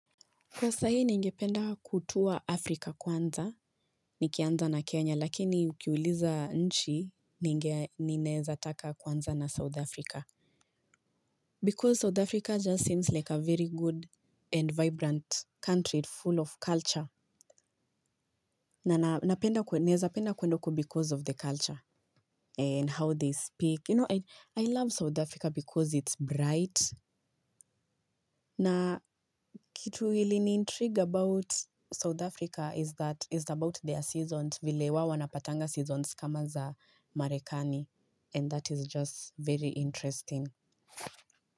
Kwa sahii ningependa kutua Afrika kwanza, nikianza na Kenya, lakini ukiuliza nchi ninge ninaweza taka kuanza na South Africa. Because South Africa just seems like a very good and vibrant country full of culture. Napenda nawezapenda kwenda huku because of the culture and how they speak. You know, I love South Africa because it's bright. Na kitu hili niintrigue about South Africa is that it's about their seasons vile wao wanapatanga seasons kama za marekani and that is just very interesting.